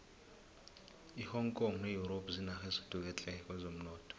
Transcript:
ihong kong ne europe zinarha ezithuthuke tle kwezomnotho